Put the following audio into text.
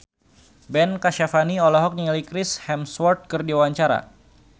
Ben Kasyafani olohok ningali Chris Hemsworth keur diwawancara